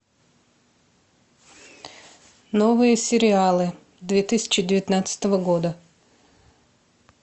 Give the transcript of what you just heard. новые сериалы две тысячи девятнадцатого года